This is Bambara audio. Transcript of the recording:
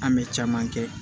An bɛ caman kɛ